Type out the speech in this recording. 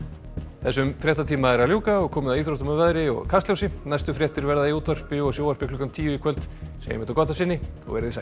þessum fréttatíma er að ljúka og komið að íþróttum veðri og Kastljósi næstu fréttir verða í útvarpi og sjónvarpi klukkan tíu í kvöld segjum þetta gott að sinni veriði sæl